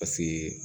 Paseke